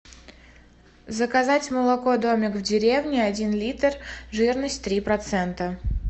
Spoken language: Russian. заказать молоко домик в деревне один литр жирность три процента